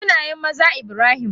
Sunayen maza Ibrahim.